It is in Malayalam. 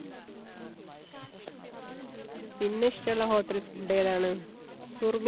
പിന്നെ ഇഷ്ടള്ള hotel food ഏതാണ്? സുറു